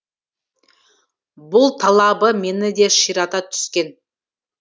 бұл талабы мені де ширата түскен